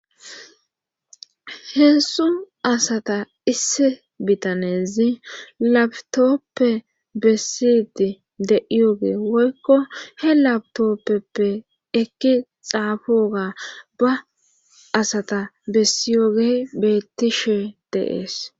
heezhzhu asata isse bitanezi labtoppe bessidi de'iyoge woykko he labtoppeppe ekki xaafoga ba asata bessiyogey bettishe de'ees